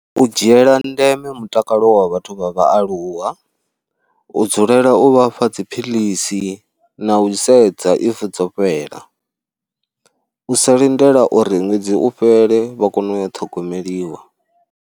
U dzhiela ndeme mutakalo wa vhathu vha vhaaluwa, u dzulela u vhafha dziphilisi na u sedza if dzo fhela. U sa lindela uri ṅwedzi u fhele vha kone u yo ṱhogomeliwa.